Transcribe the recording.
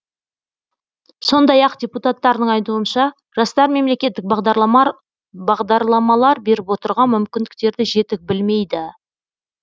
сондай ақ депутаттардың айтуынша жастар мемлекеттік бағдарламалар беріп отырған мүмкіндіктерді жетік білмейді